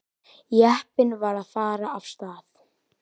Jeppinn var að fara af stað.